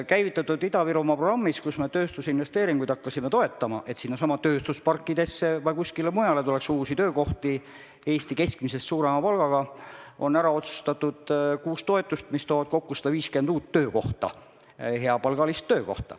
Käivitatud Ida-Virumaa programmis, mille raames me hakkasime toetama investeeringuid tööstusparkidesse ja ka mujale, et tuleks uusi töökohti Eesti keskmisest suurema palgaga, on ära otsustatud kuus toetust, mis loovad kokku 150 uut hea palgaga töökohta.